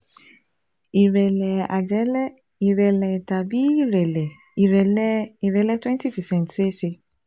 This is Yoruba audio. ìrẹ́lẹ̀ àjẹ̀lẹ̀, ìrẹ́lẹ̀ tàbí ìrẹ́lẹ̀ ìrẹ́lẹ̀ ìrẹ́lẹ̀ twenty percent ṣeé ṣe